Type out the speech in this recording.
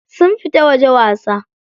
Sun fita waje wasa.